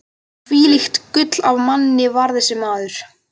Hvílíkt gull af manni var þessi maður!